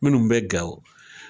Minnu bɛ Gawo